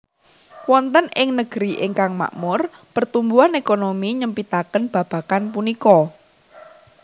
Wonten ing negeri ingkang makmur pertumbuhan ékonomi nyempitaken babagan punika